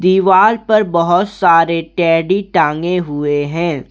दीवाल पर बहोत सारे टेडी टांगे हुए हैं।